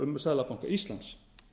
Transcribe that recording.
um seðlabanka íslands